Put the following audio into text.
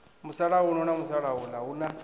musalauno na musalauḽa hu na